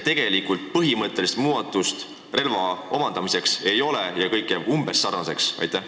Tegelikult, põhimõttelist muudatust relva omandamisel ei ole, kõik jääb umbes samasuguseks kui praegu.